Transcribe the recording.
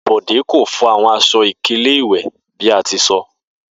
Bode ko fo awọn aṣọ-ikele iwe bi a ti sọ.